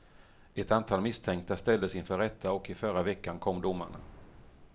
Ett antal misstänkta ställdes inför rätta och i förra veckan kom domarna.